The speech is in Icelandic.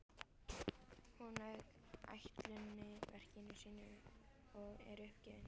Hún lauk ætlunarverki sínu og er uppgefin.